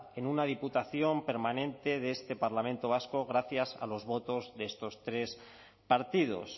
en una diputación permanente de este parlamento vasco gracias a los votos de estos tres partidos